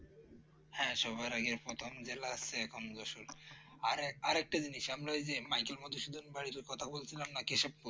হ্যাঁ সবার আগে প্রথম জেলা হচ্ছে এখন যশোর আর একটা জিনিস আমরা ওই যে মাইকেল মধুসূদন বাড়ির কথা বলছিলাম না কেশবপুর